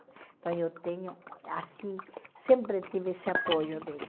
Então eu tenho, assim, sempre tive esse apoio dele.